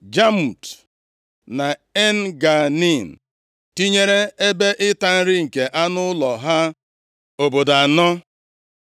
Jamut na En-Ganim, tinyere ebe ịta nri nke anụ ụlọ ha, obodo anọ.